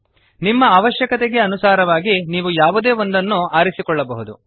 ನಿಮ್ಮ ಅವಶ್ಯಕತೆಗೆ ಅನುಸಾರವಾಗಿ ನೀವು ಯಾವುದೇ ಒಂದನ್ನು ಆರಿಸಿಕೊಳ್ಳಬಹುದು